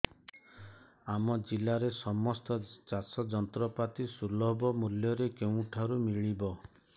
ଆମ ଜିଲ୍ଲାରେ ସମସ୍ତ ଚାଷ ଯନ୍ତ୍ରପାତି ସୁଲଭ ମୁଲ୍ଯରେ କେଉଁଠାରୁ ମିଳିବ